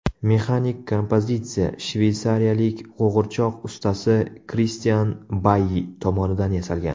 Mexanik kompozitsiya shveysariyalik qo‘g‘irchoq ustasi Kristian Bayi tomonidan yasalgan.